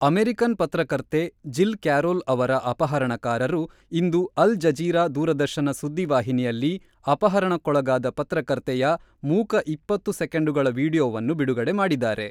American ಪತ್ರಕರ್ತೆ Jill Carroll ಅವರ ಅಪಹರಣಕಾರರು ಇಂದು ಅಲ್-ಜಜೀರಾ ದೂರದರ್ಶನ ಸುದ್ದಿ ವಾಹಿನಿಯಲ್ಲಿ ಅಪಹರಣಕ್ಕೊಳಗಾದ ಪತ್ರಕರ್ತೆಯ ಮೂಕ ಇಪ್ಪತ್ತು ಸೆಕೆಂಡುಗಳ ವೀಡಿಯೊವನ್ನು ಬಿಡುಗಡೆ ಮಾಡಿದ್ದಾರೆ.